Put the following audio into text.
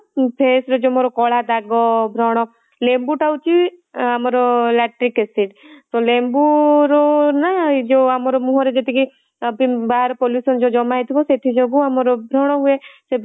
face ରେ ଯୋଉ ମୋର କଳା ଦାଗ ବ୍ରଣ ଲେମ୍ବୁ ଟା ହଉଛି ଅଁ ଆମର lactic acid ତ ଲେମ୍ବୁ ରୁ ନା ଯୋଉ ଆମର ମୁହଁ ରେ ଯେତିକି ବାହାର pollution ସବୁ ଜମା ହେଇଥିବା ସେଥିଯୋଗୁ ଆମର ବ୍ରଣ ହୁଏ